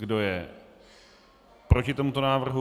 Kdo je proti tomuto návrhu?